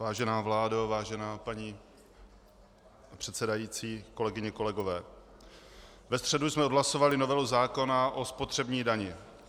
Vážená vládo, vážená paní předsedající, kolegyně, kolegové, ve středu jsme odhlasovali novelu zákona o spotřební dani.